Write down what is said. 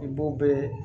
I b'o bɛɛ